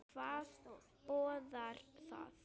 Hvað boðar það?